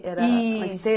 Era. Isso. Uma